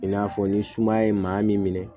I n'a fɔ ni sumaya ye maa min minɛ